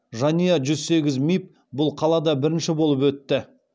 жанұя жүз сегіз миб бұл қалада бірінші болып өтті